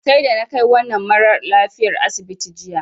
Sai da na kai wannan maralafiyar asibiti jiya.